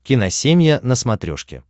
киносемья на смотрешке